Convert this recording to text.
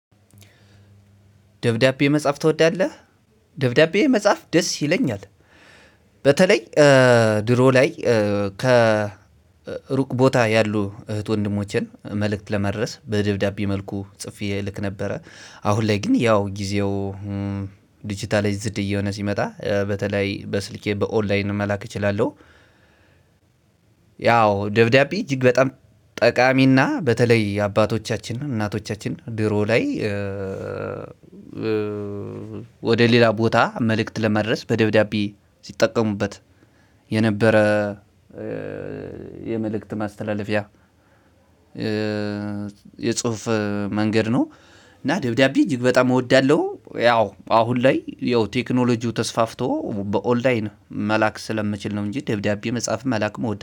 ደብዳቤ መጻፍ ትወዳለህ? ደብዳቤ መጻፍ ደስ ይለኛል። በተለይ ድሮ ላይ ከሩቅ ቦታ ያሉ እህት ወንድሞቼን መልእክት ለማድረስ በደብዳቤ መልኩ ጽፌ እልክ ነበረ። አሁን ላይ ግን ያው ጊዜው ዲጂታላይዝድ እየሆነ ሲመጣ በተለይ በስልኬ በኦንላይን መላክ እችላለሁ። ያው ደብዳቤ እጅግ በጣም ጠቃሚና በተለይ አባቶቻችን እናቶቻችን ድሮ ላይ ወደ ሌላ ቦታ መልእክት ለማድረስ በደብዳቤ ሲጠቀሙበት የነበረ የመልእክት ማስተላለፊያ የጽሁፍ መንገድ ነው። እና ደብዳቤ እጅግ በጣም እወዳለሁ። ያው አሁን ላይ ያው ቴክኖሎጂው ተስፋፍቶ በኦንላይን መላክ ስለምችል ነው እንጂ ደብዳቤ መጻፍም መላክም እወዳ